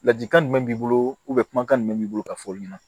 Ladilikan jumɛn b'i bolo kumakan jumɛn b'i bolo ka fɔ olu ɲɛna